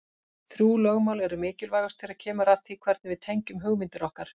Þrjú lögmál eru mikilvægust þegar kemur að því hvernig við tengjum hugmyndir okkar.